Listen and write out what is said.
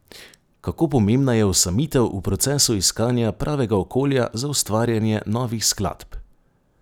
Kako pomembna je osamitev v procesu iskanja pravega okolja za ustvarjanje novih skladb?